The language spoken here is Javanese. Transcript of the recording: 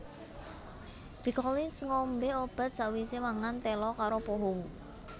Phi Collins ngombe obat sakwise mangan telo karo pohong